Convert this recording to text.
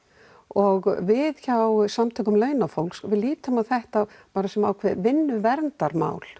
og við hjá Samtökum launafólks lítum á þetta sem ákveðið vinnuverndarmál